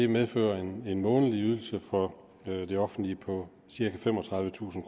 medfører en en månedlig udgift for det offentlige på cirka femogtredivetusind